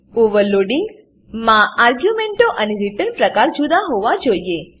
overloading માં આર્ગ્યુંમેંટો અને રીટર્ન પ્રકાર જુદા હોવા જોઈએ